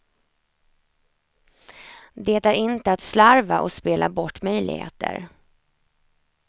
Det är inte att slarva och spela bort möjligheter.